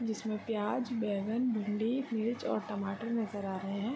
जिसमे प्याज बैगन भिंडी मिर्च और टमाटर नजर आ रहे है।